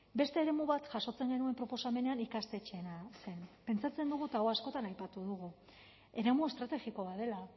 beste eremu bat jasotzen genuen proposamenean ikastetxeena zen pentsatzen dugu eta hau askotan aipatu dugu eremu estrategiko bat dela